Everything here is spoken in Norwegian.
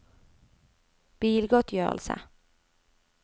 bilgodtgjørelse